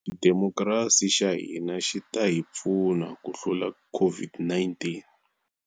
Xidemokirasi xa hina xi ta hi pfuna ku hlula COVID -19.